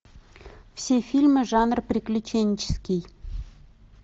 все фильмы жанра приключенческий